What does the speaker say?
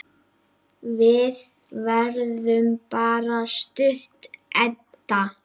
Við verðum bara stutt, Edda.